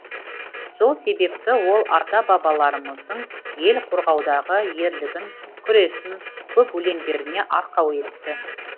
сол себепті ол ата бабаларымыздың ел қорғаудағы ерлігін күресін көп өлеңдеріне арқау етті